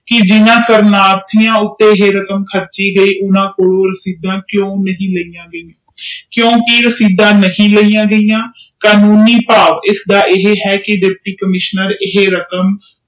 ਕਿ ਜਿਨ੍ਹਾਂ ਤੇ ਇਹ ਰਕਮ ਖਰਚੀ ਗਯੀ ਓਹਨਾ ਕੋਲ ਰਸੀਦ ਕਿਉ ਨਹੁਈ ਲਾਇਆ ਗਿਆ ਕਿਉਕਿ ਰਸੀਦ ਨਹੀਂ ਲਿਆ ਗਾਇਆ ਕਾਨੂੰਨੀ ਭਾਵ ਇਸਦਾ ਇਹ ਆ ਕਿ ਦੁਪਟੀ ਕੰਮਿਸ਼ਨਰ